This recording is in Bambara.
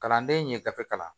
Kalanden ye gafe kalan